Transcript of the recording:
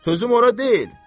Sözüm ora deyil.